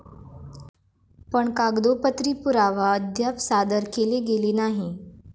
पण कागदोपत्री पुरावा अद्याप सादर केले गेले नाही.